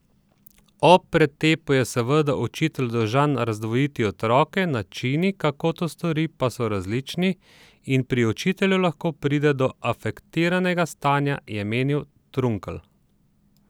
Ob pretepu je seveda učitelj dolžan razdvojiti otroke, načini, kako to stori, pa so različni in pri učitelju lahko pride do afektiranega stanja, je menil Trunkl.